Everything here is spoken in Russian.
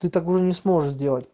ты не сможешь